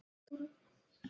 Hún megi vinna á sumrin.